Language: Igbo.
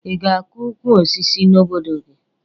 Ị ga-akọ ukwu osisi n'obodo gị?